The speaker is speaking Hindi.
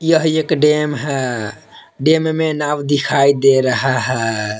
यह एक डैम है डैम में नाव दिखाई दे रहा है।